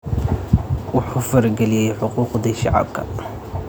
Wuxuu farageliyay xuquuqdii shacabka.